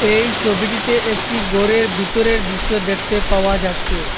এই ছবিটিতে একটি ঘরের ভেতরের দৃশ্য দেখতে পাওয়া যাচ্চে ।